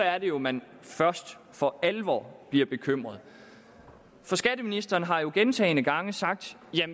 er det jo man først for alvor bliver bekymret for skatteministeren har gentagne gange sagt